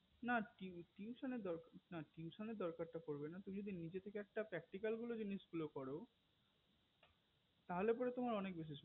না না tuition দরকার না tuition দরকার তো পড়বে না তুমি যদি নিজের থেকে practica জিনিসগুলো করো তাহলে পরে তোমার অনেক